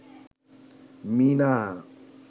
Meena